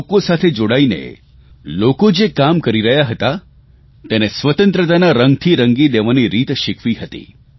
લોકો સાથે જોડાઇને લોકો જે કામ કરી રહ્યા હતા તેને સ્વતંત્રતાના રંગથી રંગી દેવાની રીત શીખવી હતી